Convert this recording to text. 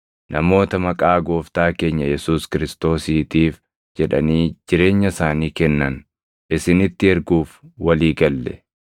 namoota maqaa Gooftaa keenya Yesuus Kiristoosiitiif jedhanii jireenya isaanii kennan isinitti erguuf walii galle.